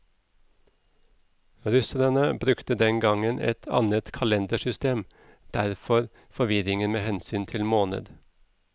Russerne brukte den gang et annet kalendersystem, derfor forvirringen med hensyn til måned.